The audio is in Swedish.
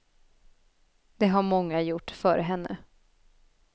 Det har många gjort före henne.